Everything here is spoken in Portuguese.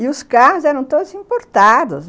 E os carros eram todos importados.